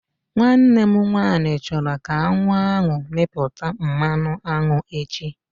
Nwanne m nwaanyị chọrọ ka aṅụ ahụ mịpụta mmanụ aṅụ echi